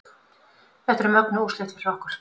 Þetta eru mögnuð úrslit fyrir okkur